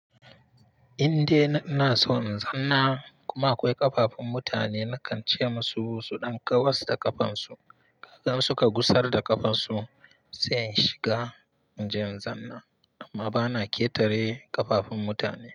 In dai ina so in zanna kuma akwai ƙafafun mutane nakan ce musu su ɗan kawars da ƙafafunsu, kaga suka gusar da ƙafafunsu sai in shiga in je in zanna amma bana ƙetare ƙafafun mutane.